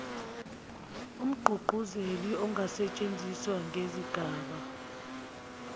umgqugquzeli angasetshenziswa ngezigaba